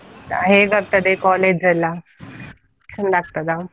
ಹೇಗಾಗ್ತದೆ college ಎಲ್ಲಾ, ಒಳ್ಳೆ ಆಗ್ತದಾ?